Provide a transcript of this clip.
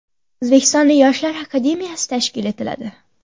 O‘zbekistonda Yoshlar akademiyasi tashkil etiladi.